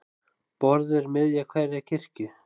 Borð er miðja hverrar kirkju.